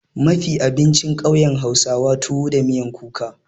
Mafi abincin ƙauyen hausawa tuwo da miyan kuka.